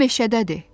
O meşədədir.